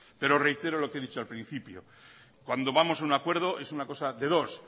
pero reitero lo que he dicho al principio cuando vamos a un acuerdo es una cosa de dos